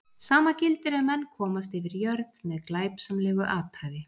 Sama gildir ef menn komast yfir jörð með glæpsamlegu athæfi.